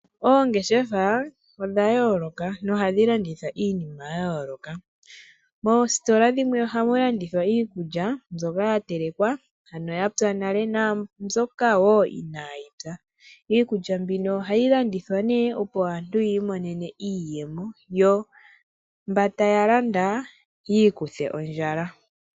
Oongeshefa odha yooloka nohadhi landitha iinima yayooloka. Moositola dhimwe ohamu landithwa iikulya mbyoka yatelekwa ano yapya nale, naambyoka woo inayi pya. Iikulya mbino ohayi landithwa nee opo aantu yiimonene iiyemo, yo mboka taya landa yiikuthe ondjala.